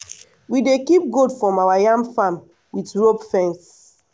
we dey keep goat from our yam farm with rope fence.